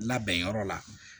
Labɛn yɔrɔ la